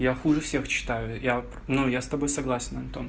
я хуже всех читаю я ну я с тобой согласен антон